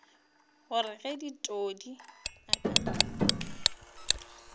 gore ge todi a ka